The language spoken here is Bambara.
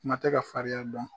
Kuma tɛ ka fariya dɔn